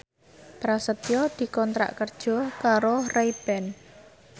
Prasetyo dikontrak kerja karo Ray Ban